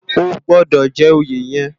Ógbòdò jè óyé yèn